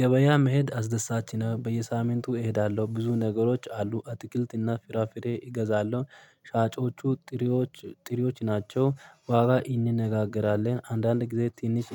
ገበያ መሄድ አስደሳች ነው በየሳምንቱ እሄዳለሁ ብዙ ነገሮች አሉ አትክልትና ፍራፍሬ እገዛለሁ። ሻጮቹ ጥሪዎች ጥሪዎች ናቸው። ዋጋ እንነጋገራለን አንዳንድ ጊዜ ትንሽ